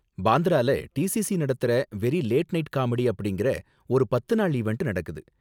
பாந்த்ரால DCC நடத்துற very late night comedy அப்படிங்கற ஒரு பத்து நாள் ஈவண்ட் நடக்குது.